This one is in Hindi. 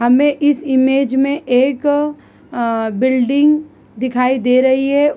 हमें इस इमेज में एक अं बिल्डिंग दिखाई दे रही है।